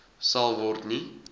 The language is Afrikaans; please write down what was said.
sal word nie